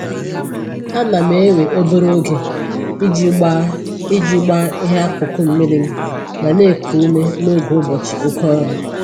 Ana m ewe obere oge iji gbaa iji gbaa ihe akụkụ m mmiri ma na-eku ume n'oge ụbọchị oké ọrụ